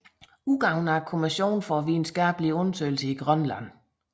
Udgivet af Kommissionen for videnskakelige Undersøgelser i Grønland